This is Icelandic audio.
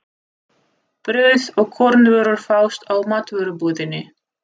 Brauð og kornvörur fást í matvörubúðinni.